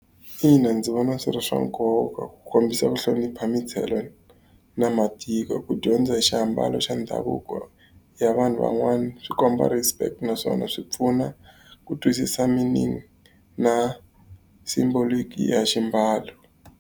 Ina ndzi vona swi ri swa nkoka ku kombisa ku hlonipha na matiko. Ku dyondza hi xiambalo xa ndhavuko ya vanhu van'wana swi komba respect naswona swi pfuna ku twisisa meaning na symbolic ya ximbalo.